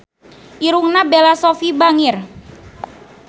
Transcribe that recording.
Irungna Bella Shofie bangir